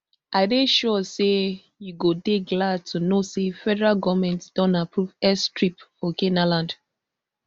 i dey sure say you go dey glad to know say federal goment don approve airstrip for canaanland